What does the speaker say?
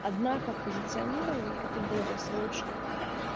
однако позиционирование это долгосрочные